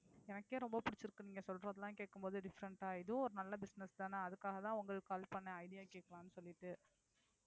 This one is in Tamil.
எனக்கே ரொம்ப பிடிச்சிருக்கு நீங்க சொல்றதெல்லாம் கேக்கும் போது different ஆ இதுவும் ஒரு நல்ல business தானே அதுக்காகதான் உங்களுக்கு call பண்ண idea கேட்கலான்னு சொல்லிட்டு